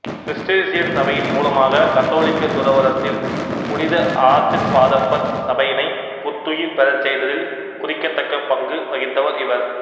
Cistercian சபையின் மூலமாக கத்தோலிக்க துறவரதில் புனித ஆசிர்வாதப்பர் சபையினை புத்துயிர் பெறச்செய்ததில் குறிக்கத்தக்கப்பங்கு வகித்த்வர் இவர்